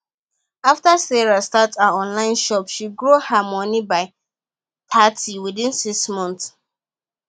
after sarah start her online shop she grows her money by thirty within six months